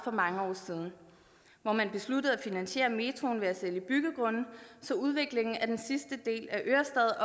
for mange år siden hvor man besluttede at finansiere metroen ved at sælge byggegrunde så udviklingen af den sidste del af ørestad